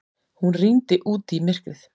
Hún rýndi út í myrkrið.